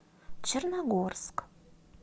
черногорск